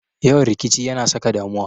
Yawan rikici ya na saka damuwa.